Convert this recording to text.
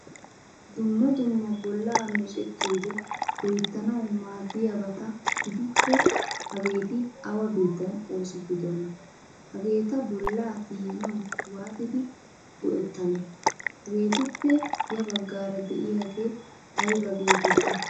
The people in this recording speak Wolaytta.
Dumma dumma bolla meccetiyode loyttanawu maadiyabata gidikko hagetti awa biittan oosettidona? Hagetta bolaa tiyanawu waatidi goettane? Hagettuppe ya baggaara deiyage ayba getetti?